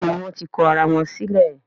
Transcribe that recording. Béèni wón tí kò àrà wón sílè.